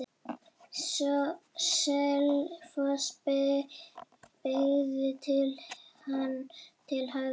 Selfoss beygði hann til hægri.